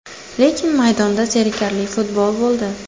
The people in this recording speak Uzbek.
Lekin maydonda zerikarli futbol bo‘ldi.